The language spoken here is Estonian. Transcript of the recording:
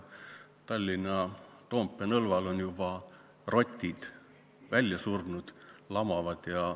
Tallinna Toompea nõlval on juba rotid välja surnud, lamavad.